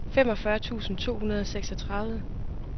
femogfyrre tusind to hundrede og seksogtredive